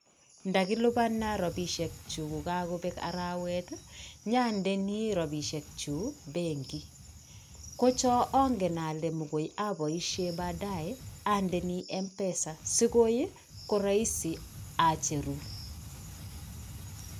Ndakilipana rabisiek chuk ko kakobeek arawet, nyaandeni rabisiek chuk benki. Ko cho angen ale mokoi abaisie baadaye andeni Mpesa, sikoi ko rahisi acheru.